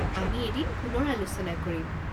আমি এদিন পুনৰ আলোচনা কৰিম।